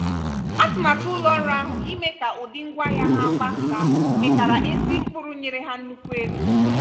atụmatụ ụlọ ọrụ ahụ ime ka ụdị ngwaahịa ha gbasaa mịtara ezi mkpụrụ nyere ha nnukwu ego.